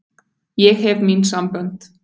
Ég hef mín sambönd.